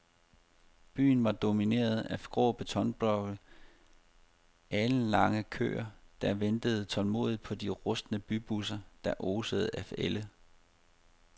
Byen var domineret af grå betonblokke og alenlange køer, der ventede tålmodigt på de rustne bybusser, der osede af ælde.